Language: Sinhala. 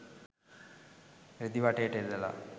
රෙදි වටේට එල්ලලා.